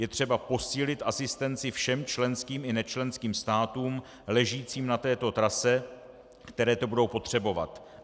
Je třeba posílit asistenci všem členským i nečlenským státům ležícím na této trase, které to budou potřebovat.